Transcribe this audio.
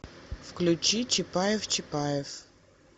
включи чапаев чапаев